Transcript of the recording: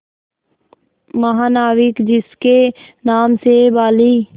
महानाविक जिसके नाम से बाली